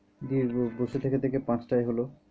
দিয়ে বসে থেকে থেকে পাঁচ টায় হলো।